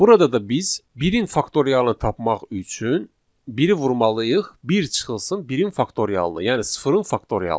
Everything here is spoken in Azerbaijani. Burada da biz 1-in faktorialını tapmaq üçün 1-i vurmalıyıq 1 çıxılsın 1-in faktorialına, yəni sıfırın faktorialına.